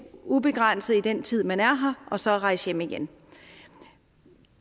ubegrænset i den tid man er her og så rejse hjem igen